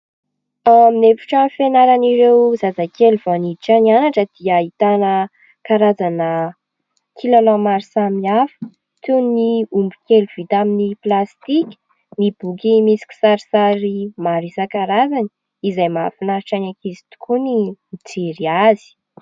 Ny efitrano fianaran'ireo zazakely vao miditra mianatra dia ahitana karazana kilalao maro samihafa toy ny omby kely vita amin'ny plastika, ny boky misy kisarisary maro isankarazany izay mahafinaritra ny ankizy tokoa ny mijery azy.